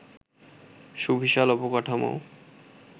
সুবিশাল অবকাঠামো